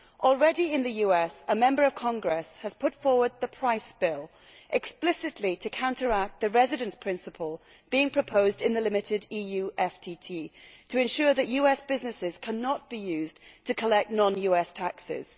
Already in the US, a Member of Congress has put forward the Price Bill, explicitly to counteract the residence principle being proposed in the limited EU FTT, to ensure that US businesses cannot be used to collect non US taxes.